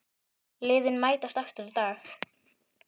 Liðin mætast aftur í dag.